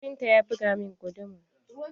Kafinta ya buga min guduma.